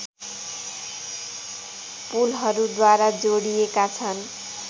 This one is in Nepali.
पुलहरूद्वारा जोडिएका छन्